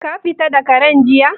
Ka fita da Karen jiya?